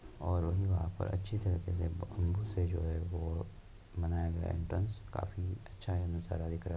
और वहीं वहाँ पर अच्छी तरीके से ब-बम्बू से जो है वो बनाया गया है एंट्रेन्स काफी अच्छा दिख रहा है।